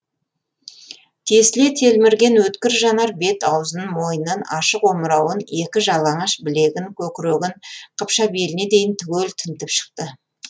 тесіле телмірген өткір жанар бет аузын мойнын ашық омырауын екі жалаңаш білегін көкірегін қыпша беліне дейін түгел тінтіп шықты